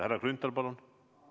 Härra Grünthal, palun!